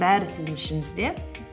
бәрі сіздің ішіңізде